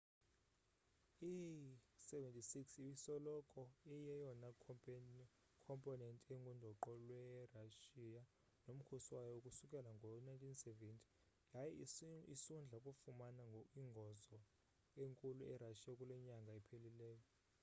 i il-76 ibisoloko iyeyona khomponenti engundoqo lwe russia nomkhosi wayo ukusukela ngo 1970 yaye isundla kufumana ingozo enkulu e russia kulenyanga iphelileyo